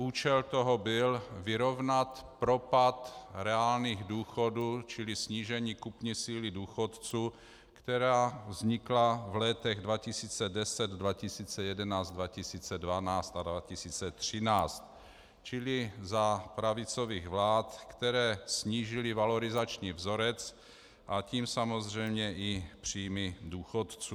Účel toho byl vyrovnat propad reálných důchodů čili snížení kupní síly důchodců, které vzniklo v letech 2010, 2011, 2012 a 2013, čili za pravicových vlád, které snížily valorizační vzorec, a tím samozřejmě i příjmy důchodců.